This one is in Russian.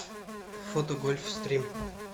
фото гольф стрим